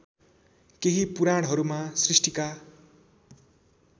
केही पुराणहरूमा सृष्टिका